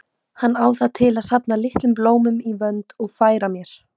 Hann á það til að safna litlum blómum í vönd og færa mér.